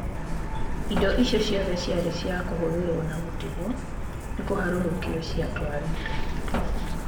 Indo icio ciothe ciarĩ cia kũhũthĩrũo na gũtigwo nĩ kũharũrũkio ciatwarĩtwo.